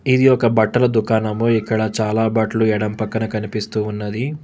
ఇది ఒక బట్టల దుకాణము ఇక్కడ చాలా బట్లు ఎడం పక్కన కనిపిస్తూ ఉన్నది.